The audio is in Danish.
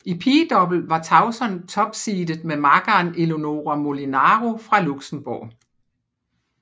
I pigedouble var Tauson topseedet med makkeren Eléonora Molinaro fra Luxembourg